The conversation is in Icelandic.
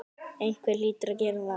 Einhver hlýtur að gera það.